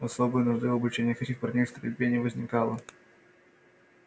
особой нужды в обучении этих парней стрельбе не возникало